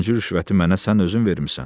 Birinci rüşvəti mənə sən özün vermisən.